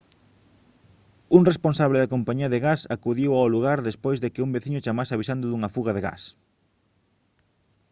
un responsable da compañía de gas acudiu ao lugar despois de que un veciño chamase avisando dunha fuga de gas